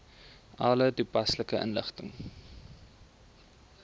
alle toepaslike inligting